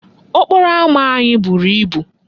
Okporo ama anyị buru ibu.